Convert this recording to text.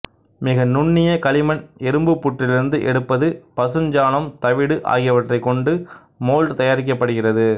மிக நுண்ணிய களிமண் எறும்புப் புற்றிலிருந்து எடுப்பது பசுஞ்சாணம் தவிடு ஆகியவற்றைக் கொண்டு மோல்டு தயாரிக்கப்படுகிறது